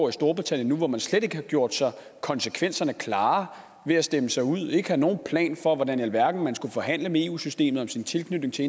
i storbritannien nu hvor man slet ikke har gjort sig konsekvenserne klart ved at stemme sig ud og ikke har nogen plan for hvordan i alverden man skulle forhandle med eu systemet om sin tilknytning til